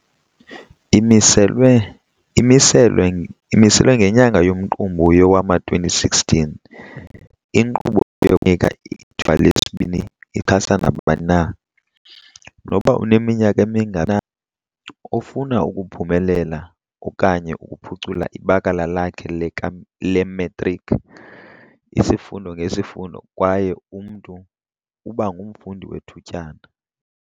Imiselwe ngenyanga yoMqungu yowama-2016, inkqubo yokuNika iThuba leSibini ixhasa nabani na - noba uneminyaka emingaphi na - ofuna ukuphumelela okanye ukuphucula ibakala lakhe lematriki, isifundo ngesifundo kwaye umntu uba ngumfundi wethutyana.